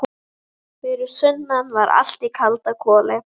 Fyrir sunnan var allt í kalda koli.